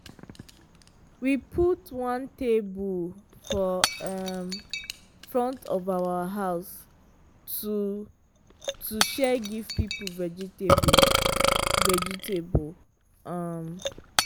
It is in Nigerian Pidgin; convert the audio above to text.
we put one table for um front of our house to to share give people vegetable. vegetable. um